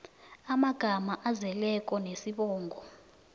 amagama azeleko nesibongo